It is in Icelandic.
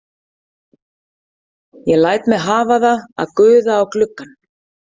Ég læt mig hafa það að guða á gluggann.